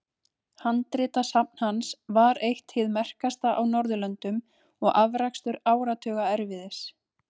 Handritasafn hans var eitt hið merkasta á Norðurlöndum og afrakstur áratuga erfiðis.